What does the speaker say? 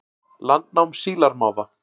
Landnám sílamáfa